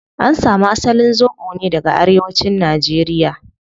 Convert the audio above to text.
An samu asalin zobo ne daga arewacin nigeria